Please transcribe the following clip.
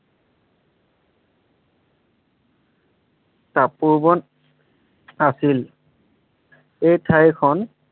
তপোবন আছিল এই ঠাইখন